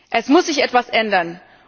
Es muss sich etwas ändern!